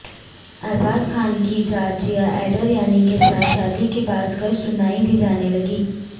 ارباز خان کی Giorgia Andriani کیساتھ شادی کی بازگشت سنائی دی جانے لگیں